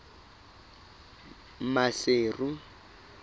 maseru